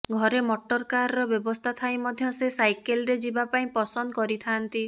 ଘରେ ମଟର କାର୍ର ବ୍ୟବସ୍ଥା ଥାଇ ମଧ୍ୟ ସେ ସାଇକେଲ୍ରେ ଯିବା ପାଇଁ ପସନ୍ଦ କରିଥାନ୍ତି